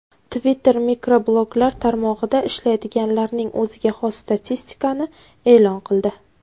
Twitter mikrobloglar tarmog‘ida ishlaydiganlarning o‘ziga xos statistikani e’lon qildi.